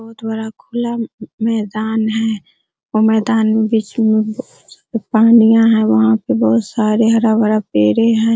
बहुत बड़ा खुला मैदान है और मैदान में बिच में पनिया है वहाँ पे बहुत सारे हरा भरा पेड़े हैं |